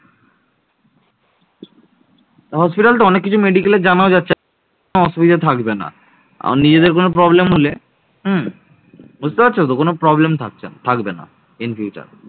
Hospital তো অনেক কিছু medical জানাও যাচ্ছে অসুবিধা থাকবে না আর নিজেদের কোনও problem হলে হুম বুঝতে পারছো তো কোনও problem থাকবে না